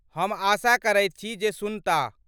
हम आशा करैत छी जे सुनताह।